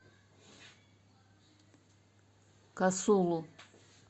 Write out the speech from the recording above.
касулу